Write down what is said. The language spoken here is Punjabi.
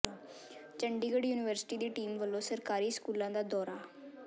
ਚੰਡੀਗੜ੍ਹ ਯੂਨੀਵਰਸਿਟੀ ਦੀ ਟੀਮ ਵੱਲੋਂ ਸਰਕਾਰੀ ਸਕੂਲਾਂ ਦਾ ਦੌਰਾ